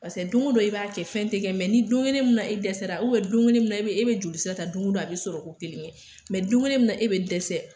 Paseke don dɔ, i b'a kɛ fɛn tigɛ ni don kelen min na i dɛsɛra don kelen min na e be joli sira ta don o don, a bi sɔrɔ ko kelen kɛ don kelen min na e bɛ dɛsɛ